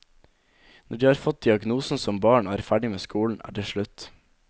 Når de har fått diagnosen som barn og er ferdig med skolen, er det slutt.